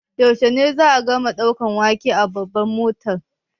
Yaushe ne za'a gama ɗaura waken a Babbar Motan?